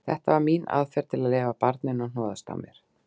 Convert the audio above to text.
Þetta var mín aðferð til að leyfa barninu að hnoðast á mér.